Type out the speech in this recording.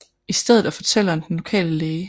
I stedet er fortælleren den lokale læge dr